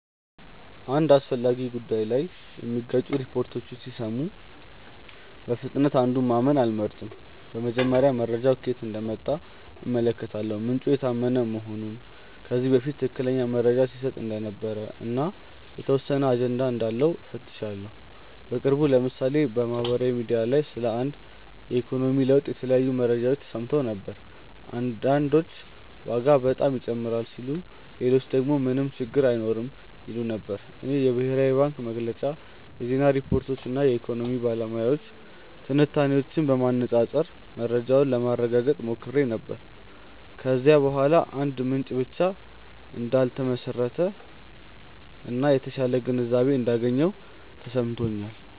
አንድ አስፈላጊ ጉዳይ ላይ የሚጋጩ ሪፖርቶችን ሲሰሙ በፍጥነት አንዱን ማመን አልመርጥም። በመጀመሪያ መረጃው ከየት እንደመጣ እመለከታለሁ፤ ምንጩ የታመነ መሆኑን፣ ከዚህ በፊት ትክክለኛ መረጃ ሲሰጥ እንደነበር እና የተወሰነ አጀንዳ እንዳለው እፈትሻለሁ። በቅርቡ ለምሳሌ በማህበራዊ ሚዲያ ላይ ስለ አንድ የኢኮኖሚ ለውጥ የተለያዩ መረጃዎች ተሰምተው ነበር። አንዳንዶች ዋጋ በጣም ይጨምራል ሲሉ ሌሎች ደግሞ ምንም ችግር አይኖርም ይሉ ነበር። እኔ የብሔራዊ ባንክ መግለጫ፣ የዜና ሪፖርቶች እና የኢኮኖሚ ባለሙያዎች ትንታኔዎችን በማነፃፀር መረጃውን ለማረጋገጥ ሞክሬ ነበር። ከዚያ በኋላ በአንድ ምንጭ ብቻ እንዳልተመሰረተ እና የተሻለ ግንዛቤ እንዳገኘሁ ተሰምቶኛል።